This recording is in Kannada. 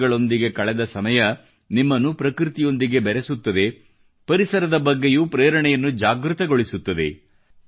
ಪಕ್ಷಿಗಳೊಂದಿಗೆ ಕಳದೆ ಸಮಯ ನಿಮ್ಮನ್ನು ಪ್ರಕೃತಿಯೊಂದಿಗೆ ಬೆರೆಸುತ್ತದೆ ಪರಿಸರದ ಬಗ್ಗೆಯೂ ಪ್ರೇರಣೆಯನ್ನು ಜಾಗೃತಗೊಳಿಸುತ್ತದೆ